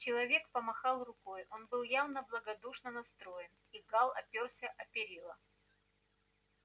человек помахал рукой он был явно благодушно настроен и гаал оперся о перила